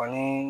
Ani